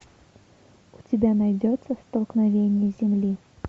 у тебя найдется столкновение земли